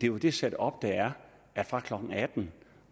jo det setup der er at fra klokken atten